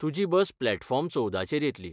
तुजी bus platform चोवदाचेर येतली.